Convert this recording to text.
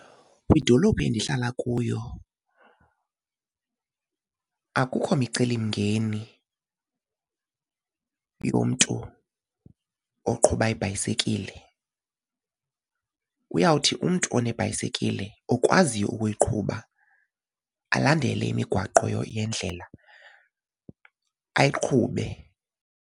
Kwidolophu endihlala kuyo akukho micelimngeni yomntu oqhuba ibhayisekile. Uyawuthi umntu onebhayisikile okwaziyo ukuyiqhuba alandele imigwaqo yendlela ayiqhube.